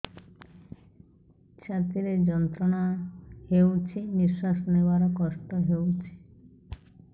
ଛାତି ରେ ଯନ୍ତ୍ରଣା ହେଉଛି ନିଶ୍ଵାସ ନେବାର କଷ୍ଟ ହେଉଛି